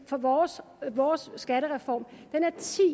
for vores vores skattereform